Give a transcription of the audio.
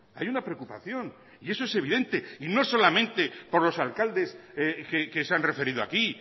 hay una preocupación y eso es evidente y no solamente por los alcaldes que se han referido aquí